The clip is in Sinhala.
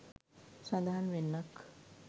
සඳහන් වෙන්නක්.